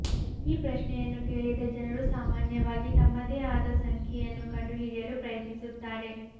ಈ ಪ್ರಶ್ನೆಯನ್ನು ಕೇಳಿದ ಜನರು ಸಾಮಾನ್ಯವಾಗಿ ತಮ್ಮದೇ ಆದ ಸಂಖ್ಯೆಯನ್ನು ಕಂಡುಹಿಡಿಯಲು ಪ್ರಯತ್ನಿಸುತ್ತಾರೆ